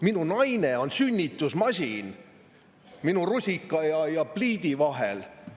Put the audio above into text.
Minu naine on sünnitusmasin minu rusika ja pliidi vahel.